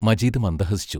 Majeed മന്ദഹസിച്ചു.